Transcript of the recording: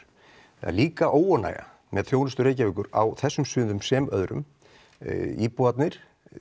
það er líka óánægja með þjónustu Reykjavíkur á þessum sviðum sem öðrum íbúarnir